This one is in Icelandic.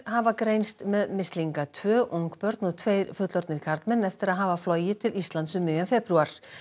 hafa greinst með mislinga tvö ungbörn og tveir fullorðnir karlmenn eftir að hafa flogið til Íslands um miðjan febrúar